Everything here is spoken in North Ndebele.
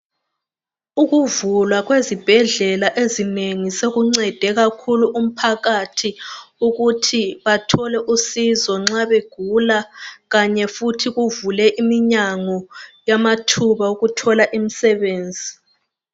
Ukuvulwa kwezibhedlela ezinengi sokuncede kakhulu umphakathi ukuthi bathole usizo nxa begula kanye futhi kuvule iminyango yamathuba okuthola imsebenzi.